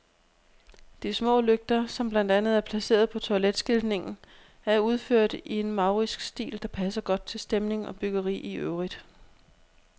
De små lygter, som blandt andet er placeret på toiletskiltningen, er udført i en maurisk stil, der passer godt til stemning og byggeri i øvrigt.